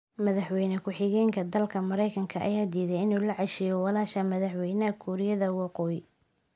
Madaxweyne ku xigeenka dalka Mareykanka ayaa diiday inuu la casheeyo walaasha madaxweynaha Kuuriyada Waqooyi